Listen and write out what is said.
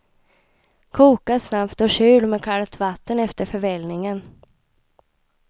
Koka snabbt och kyl med kallt vatten efter förvällningen.